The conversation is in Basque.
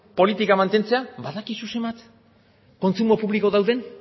politikoa mantentzea badakizu zenbat kontsumo publiko dauden